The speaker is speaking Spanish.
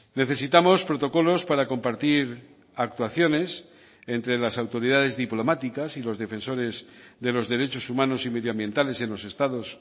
necesitamos protocolos para compartir actuaciones entre las autoridades diplomáticas y los defensores de los derechos humanos y medioambientales en los estados